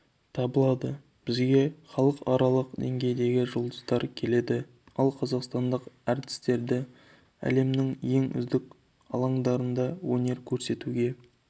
табылады бізге халықаралық деңгейдегі жұлдыздар келеді ал қазақстандық әртістерді әлемнің ең үздік алаңдарында өнер көрсетуге